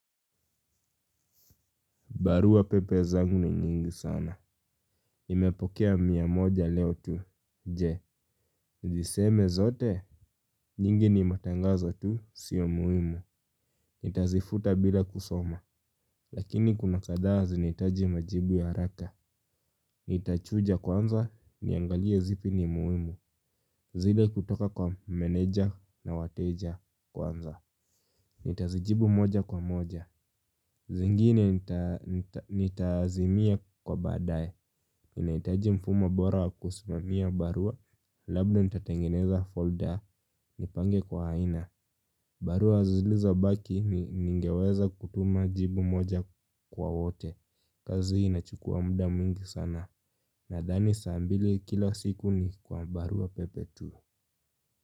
Barua pepe zangu ni nyingi sana. Nimepokea mia moja leo tu. Je. Niziseme zote. Nyingi ni matangazo tu. Sio muhimu. Nitazifuta bila kusoma. Lakini kuna kadhaa zinaitaji majibu ya haraka. Nitachuja kwanza. Niangalie zipi ni muhimu. Zile kutoka kwa meneja na wateja kwanza. Nitazijibu moja kwa moja. Zingine nitazimia kwa baadae. Ninaitaji mfumo bora wa kusimamia barua. Labda nitatengeneza folder. Nipange kwa haina. Barua zilizobaki ningeweza kutuma jibu moja kwa wote. Kazi ii inachukua muda mwingi sana. Nadhani saa mbili kila siku ni kwa barua pepe tu.